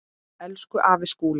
Elsku afi Skúli.